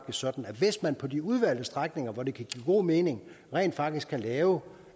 sådan at hvis man på de udvalgte strækninger hvor det kan give god mening rent faktisk kan lave